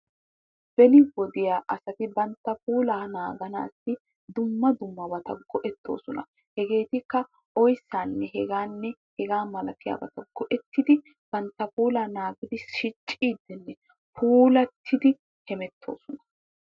Beni wodiya asati bantta puulaa naaganaasi dumma dummabata go'ettosona. hegeetikka oyttaanne hegaanne hegaa malattiyabata go'ettidi bantta puulaa naagissidi pulattidi hemetoosona.